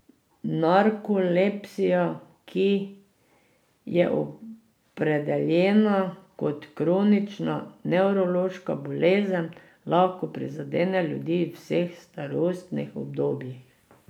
Narkolepsija, ki je opredeljena kot kronična nevrološka bolezen, lahko prizadene ljudi v vseh starostnih obdobjih.